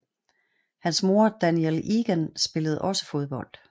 Hans mor Danielle Egan spillede også fodbold